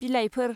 बिलाइफोर